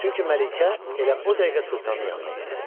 Çünki Məlikə elə o dəqiqə sultanın yanına getdi.